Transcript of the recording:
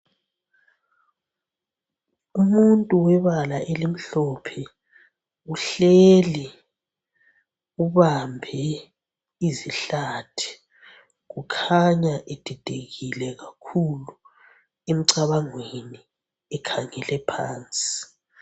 Umuntu webala elimhlophe uhleli ubambe izihlathi kukhanya edidekile kakhulu emcabangweni ekhangele phansi.